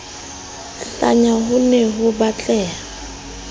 hlanya ho ne ho batleha